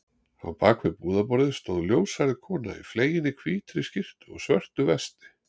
Á bak við búðarborðið stóð ljóshærð kona í fleginni hvítri skyrtu og svörtu vesti.